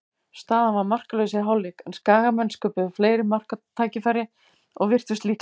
Staðan var markalaus í hálfleik, en Skagamenn sköpuðu fleiri marktækifæri og virtust líklegri.